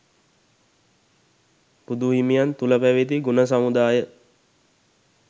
බුදුහිමියන් තුළ පැවැති ගුණ සමුදාය